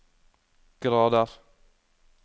grader